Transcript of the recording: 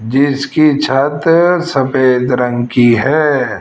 जिसकी छत सफेद रंग की है।